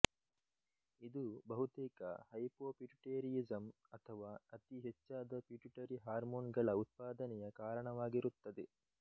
ಇದು ಬಹುತೇಕ ಹೈಪೊಪಿಟುಟೇರಿಯಿಸಮ್ ಅಥವಾ ಅತಿ ಹೆಚ್ಚಾದ ಪಿಟ್ಯುಟರಿ ಹಾರ್ಮೊನ್ ಗಳ ಉತ್ಪಾದನೆಯ ಕಾರಣವಾಗಿರುತ್ತದೆ